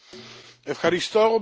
Panie Przewodniczący!